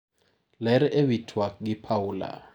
Ler ewi tuak gi Paula.